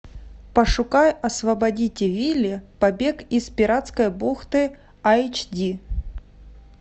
пошукай освободите вилли побег из пиратской бухты айч ди